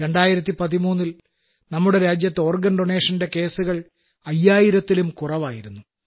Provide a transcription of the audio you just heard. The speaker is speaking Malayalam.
2013ൽ നമ്മുടെ രാജ്യത്ത് ഓർഗൻ ഡൊനേഷന്റെ കേസ്സുകൾ അയ്യായിരത്തിലും കുറവായിരുന്നു